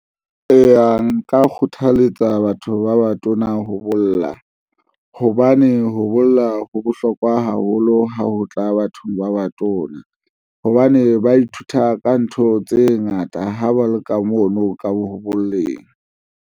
Eya, nka kgothaletsa batho ba batona ho bolla, hobane ho bolla ho bohlokwa haholo ha ho tla bathong ba batona, hobane ba ithuta ka ntho tse ngata, ha ba leka mono ka ho boleng.